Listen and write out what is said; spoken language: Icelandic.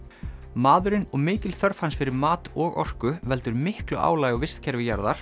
maðurinn og mikil þörf hans fyrir mat og orku veldur miklu álagi á vistkerfi jarðar